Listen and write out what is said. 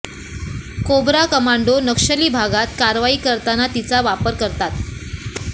cobra commando नक्षली भागात कारवाई करताना तिचा वापर करतात